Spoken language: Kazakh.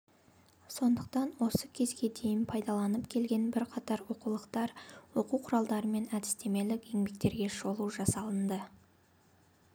сондықтан осы кезге дейін пайдаланылып келген бірқатар оқулықтар оқу құралдары мен әдістемелік еңбектерге шолу жасалынды